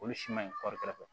Olu si ma ɲi kɔɔri kɛrɛfɛ